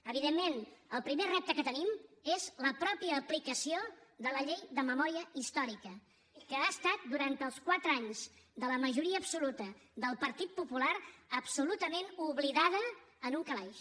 evidentment el primer repte que tenim és la mateixa aplicació de la llei de memòria històrica que ha estat durant els quatre anys de la majoria absoluta del partit popular absolutament oblidada en un calaix